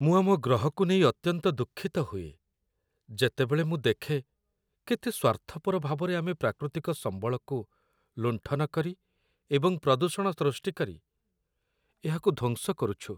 ମୁଁ ଆମ ଗ୍ରହକୁ ନେଇ ଅତ୍ୟନ୍ତ ଦୁଃଖିତ ହୁଏ, ଯେତେବେଳେ ମୁଁ ଦେଖେ କେତେ ସ୍ୱାର୍ଥପର ଭାବରେ ଆମେ ପ୍ରାକୃତିକ ସମ୍ବଳକୁ ଲୁଣ୍ଠନ କରି ଏବଂ ପ୍ରଦୂଷଣ ସୃଷ୍ଟି କରି ଏହାକୁ ଧ୍ୱଂସ କରୁଛୁ।